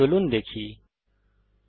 চলুন দেখা যাক